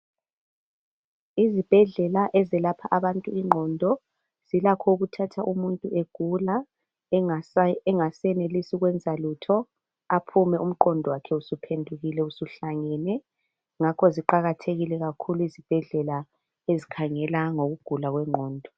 Izibhedlela ezelapha abantu ingqondo zilakho ukuthatha umuntu egula engasenelisi ukwenza lutho aphume umqondo wakhe usuphendukile usuhlangene ngakho ziqakathekile kakhulu izibhedlela ezikhangela ngokugula kwengqondo.